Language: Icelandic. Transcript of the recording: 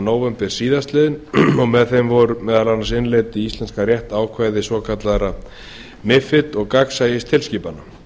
nóvember síðastliðinn með lögunum voru meðal annars innleidd í íslenskan rétt ákvæði svokallaðra mifid og gagnsæistilskipana